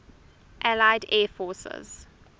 allied air forces